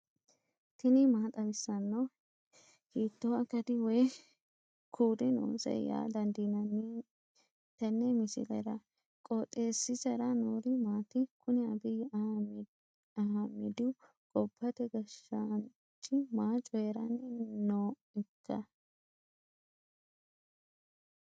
tini maa xawissanno ? hiitto akati woy kuuli noose yaa dandiinanni tenne misilera? qooxeessisera noori maati? kuni abiyi ahimedihu gobbate gashshaanch maa coyiranni nooikka